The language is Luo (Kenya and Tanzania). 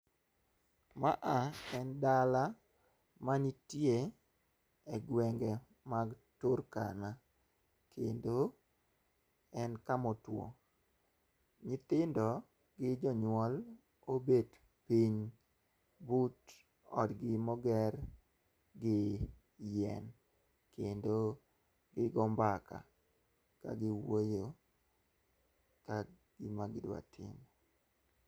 Ma ah en dala manitie egwenge mag Turkana, kendo en kama otwo. Nyithindo gi jonyuol obet piny but odgi moger gi yien kendo gigo mbaka kagiwuoye ka gima gidwa timo.